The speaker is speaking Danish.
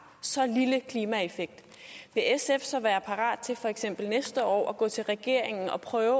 så lille en klimaeffekt vil sf så være parat til for eksempel næste år at gå til regeringen og prøve